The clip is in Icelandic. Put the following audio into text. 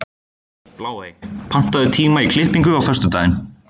Bláey, pantaðu tíma í klippingu á föstudaginn.